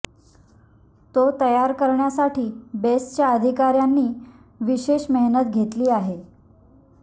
तो तयार करण्यासाठी बेस्टच्या अधिकार्यांनी विशेष मेहनत घेतली आहे